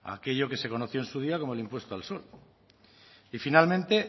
aquello que se conoció en su día como el impuesto al sol y finalmente